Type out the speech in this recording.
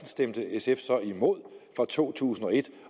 stemte sf så imod fra to tusind og et